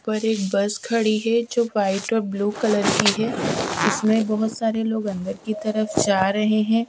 और एक बस खड़ी है जो व्हाईट और ब्लू कलर की है इसमें बहोत सारे लोग अंदर की तरफ जा रहे हैं।